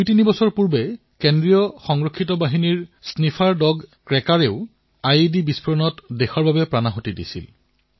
দুইতিনি বছৰ পূৰ্বে ছট্টিশগড়ৰ বীজাপুৰত চিআৰপিএফৰ স্নিফাৰ কুকুৰ ক্ৰেকাৰো আইইডি বিস্ফোৰণত শ্বহীদ হৈছিল